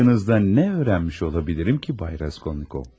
Sizin haqqınızda nə öyrənmiş ola bilirəm ki, Bay Raskolnikov?